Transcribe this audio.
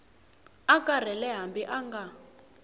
a karhele hambi a nga